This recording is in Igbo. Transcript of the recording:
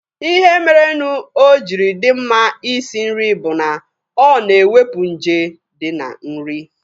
Ihe merenụ o jiri dị mma Ị sị nri bụ na o na-ewepu nje dị na nri.